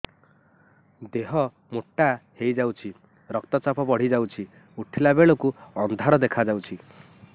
ଦେହ ମୋଟା ହେଇଯାଉଛି ରକ୍ତ ଚାପ ବଢ଼ି ଯାଉଛି ଉଠିଲା ବେଳକୁ ଅନ୍ଧାର ଦେଖା ଯାଉଛି